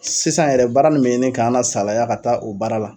Sisan yɛrɛ baara nin bɛ ɲini k'an na salaya ka taa o baara la.